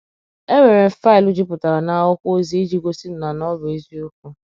Enwere m faịlụ jupụtara n’akwụkwọ ozi ịji gosi na na ọ bụ eziokwu.